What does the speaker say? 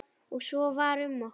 Og svo var um okkur.